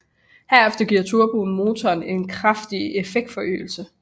Herefter giver turboen motoren en kraftig effektforøgelse